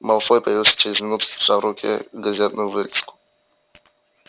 малфой появился через минуту держа в руке газетную вырезку